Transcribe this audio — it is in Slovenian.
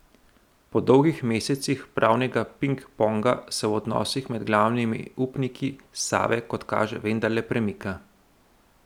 Po dolgih mesecih pravnega ping ponga se v odnosih med glavnimi upniki Save kot kaže vendarle premika.